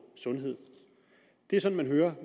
sundhed det er sådan man hører